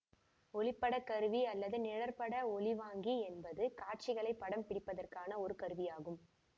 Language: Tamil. ஒளிப்படக்கருவி அல்லது நிழற்பட ஒளிவாங்கி என்பது காட்சிகளை படம் பிடிப்பதற்கான ஒரு கருவியாகும்